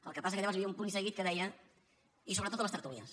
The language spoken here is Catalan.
el que passa que llavors hi havia un punt i seguit que deia i sobretot a les tertúlies